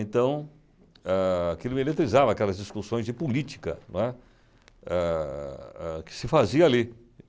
Então, ah, aquilo me eletrizava, aquelas discussões de política, não é? Ah, que se fazia ali.